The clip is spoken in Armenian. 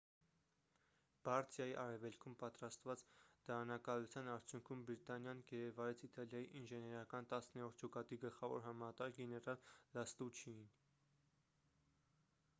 բարդիայի արևելքում պատրաստված դարանակալության արդյունքում բրիտանիան գերեվարեց իտալիայի ինժեներական տասներորդ ջոկատի գլխավոր հրամանատար գեներալ լաստուչիին